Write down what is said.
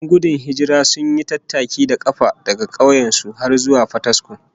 Yan gudun hijirar sun yi tattaki da kafa daga kauyen su har zuwa Fataskuma